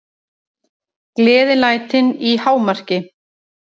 Gleðilætin í hámarki.